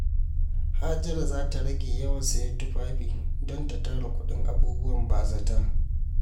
Hajara za ta rage yawan sayen tufafi don ta tara kuɗin abubuwan ba-zata.